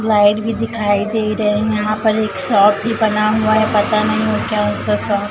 light भी दिखाई दे रहे हैं यहां पर एक शॉप भी बना हुआ है पता नहीं वो कौन सा शॉप --